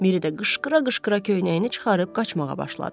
Miri də qışqıra-qışqıra köynəyini çıxarıb qaçmağa başladı.